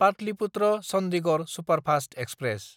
पाटलिपुत्र–चन्दिगड़ superfast express